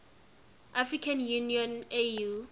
african union au